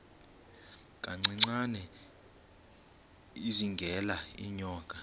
kancinane izingela iinyoka